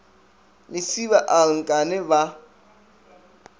lesiba a re nkane ba